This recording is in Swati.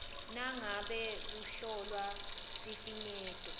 nangabe kuhlolwa sifinyeto